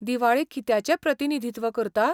दिवाळी कित्याचें प्रतिनिधीत्व करता?